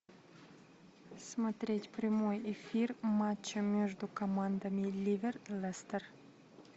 смотреть прямой эфир матча между командами ливер лестер